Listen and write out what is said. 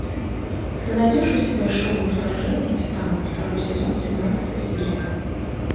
ты найдешь у себя шоу вторжение титанов второй сезон семнадцатая серия